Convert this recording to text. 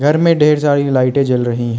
घर में ढ़ेर सारी लाइटें जल रही हैं।